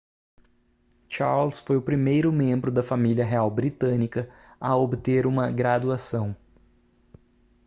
charles foi o primeiro membro da família real britânica a obter uma graduação